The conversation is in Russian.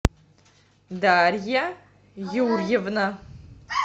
дарья юрьевна